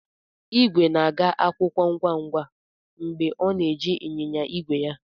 Igwe na-aga akwụkwọ ngwa ngwa mgbe ọ na-eji ịnyịnya ígwè ya.